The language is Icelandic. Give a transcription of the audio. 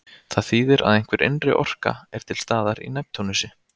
Það þýðir að einhver innri orka er til staðar í Neptúnusi.